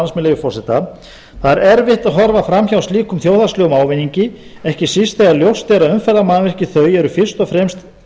með leyfi forseta það er erfitt að horfa fram hjá slíkum þjóðhagslegum ávinningi ekki síst þegar ljóst er að umferðarmannvirki þau er fyrst og fremst